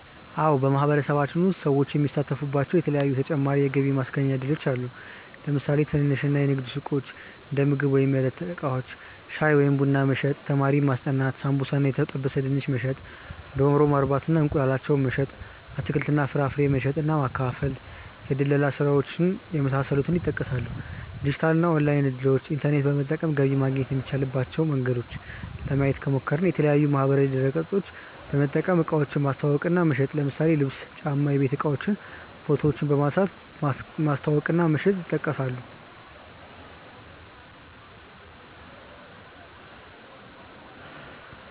አዎ በማህበረሰባችን ውስጥ ሰዎች የሚሳተፉባቸዉ የተለያዪ ተጨማሪ የገቢ ማስገኛ እድሎች አሉ። ለምሳሌ ትንንሽ የንግድ ሱቆች(እንደምግብ ወይም የዕለት እቃዎች) ፣ ሻይ ወይም ቡና መሸጥ፣ ተማሪዎችን ማስጠናት፣ ሳምቡሳ እና የተጠበሰ ድንች መሸጥ፣ ዶሮ ማርባት እና እንቁላላቸውን መሸጥ፣ አትክልት እና ፍራፍሬ መሸጥ እና ማከፋፈል፣ የድለላ ስራዎች የመሳሰሉት ይጠቀሳሉ። የዲጂታል እና ኦንላይን እድሎችን( ኢንተርኔት በመጠቀም ገቢ ማግኘት የሚቻልበት መንገድ) ለማየት ከሞከርን፦ የተለያዪ ማህበራዊ ድረገፆችን በመጠቀም እቃዎችን ማስተዋወቅ እና መሸጥ ለምሳሌ ልብስ፣ ጫማ፣ የቤት እቃዎችን ፎቶ በመንሳት ማስተዋወቅ እና መሸጥ ይጠቀሳሉ።